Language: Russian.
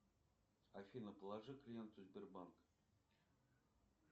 афина положи клиенту сбербанк